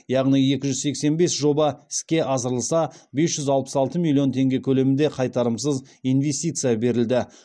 яғни екі жүз сексен бес жоба іске асырылса бес жүз алпыс алты миллион теңге көлемінде қайтарымсыз инвестиция берілді